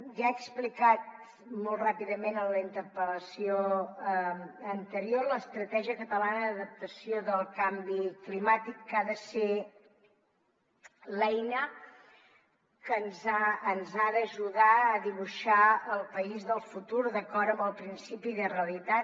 ja he explicat molt ràpidament en la interpel·lació anterior l’estratègia catalana d’adaptació del canvi climàtic que ha de ser l’eina que ens ha d’ajudar a dibuixar el país del futur d’acord amb el principi de realitat